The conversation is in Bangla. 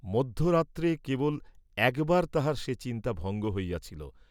মধ্যরাত্রে কেবল একবার তাঁহার সে চিন্তা ভঙ্গ হইয়াছিল।